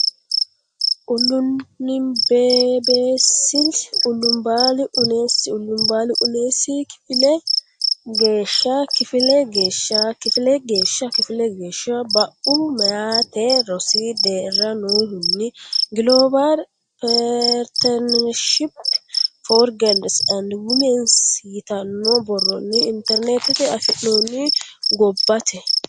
ululanbnbeeasl ullabbal unnees ullabbal unnees kifile geeshsha kifile geeshsha kifile geeshsha kifile geeshsha Bue Meyate rosi deerra nohunni Global Partnership for Girls and Women s yitanno borronni Internetetenni afi noonni gobbate.